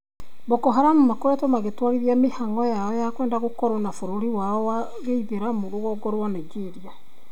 Boko Haram makoretwo magĩtwarithia mĩhang'o ya kwenda gũkorwo na bũrũri wao wa gĩithĩramu rũgongo rwa Nigeria